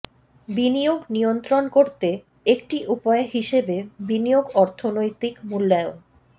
বিনিয়োগ নিয়ন্ত্রণ করতে একটি উপায় হিসেবে বিনিয়োগ অর্থনৈতিক মূল্যায়ন